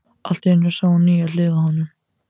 Allt í einu sá hún nýja hlið á honum.